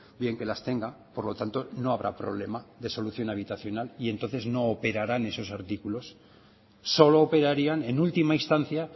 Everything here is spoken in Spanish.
bien que las tenga por lo tanto no habrá problema de solución habitacional y entonces no operaran esos artículos solo operarían en última instancia